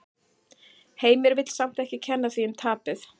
Heimir vill samt ekki kenna því um tapið.